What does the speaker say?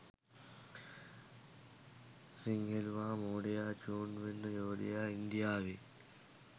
සිංහෙලුවා මෝඩයා චූන් වෙන්න යෝධයා ඉන්දියාවේ